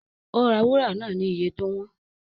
Ó ra wúrà náà ni iye tó wọ́n